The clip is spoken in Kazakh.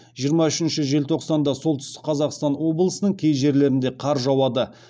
жиырма үшінші желтоқсанда солтүстік қазақстан облысының кей жерлерінде қар жауады